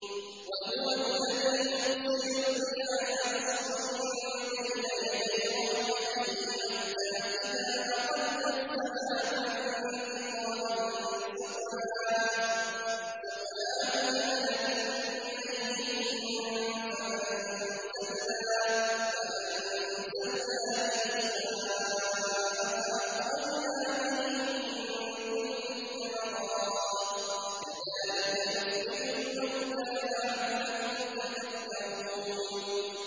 وَهُوَ الَّذِي يُرْسِلُ الرِّيَاحَ بُشْرًا بَيْنَ يَدَيْ رَحْمَتِهِ ۖ حَتَّىٰ إِذَا أَقَلَّتْ سَحَابًا ثِقَالًا سُقْنَاهُ لِبَلَدٍ مَّيِّتٍ فَأَنزَلْنَا بِهِ الْمَاءَ فَأَخْرَجْنَا بِهِ مِن كُلِّ الثَّمَرَاتِ ۚ كَذَٰلِكَ نُخْرِجُ الْمَوْتَىٰ لَعَلَّكُمْ تَذَكَّرُونَ